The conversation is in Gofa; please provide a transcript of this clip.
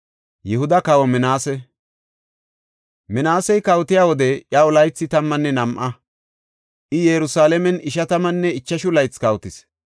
Minaasey kawotiya wode iyaw laythi tammanne nam7a; I Yerusalaamen ishatammanne ichashu laythi kawotis.